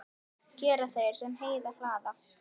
Gera þeir, sem heyi hlaða.